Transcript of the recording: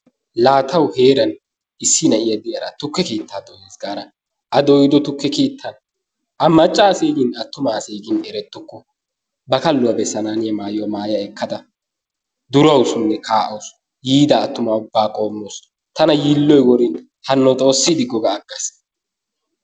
laa tawu heeran issi na'iyaa de'iyaara tukke keettaa dooyas gaara a dooyido tukke keettan a macca asayee attuma asee gin eretuuku ba kalluwaa bessananiyaa mayuwaa maaya ekkada durawusunne ka'awus. Yiida attuma ubbaa qoommawus. Tana yiilloy worin haanno xoossi diggo ga agaas.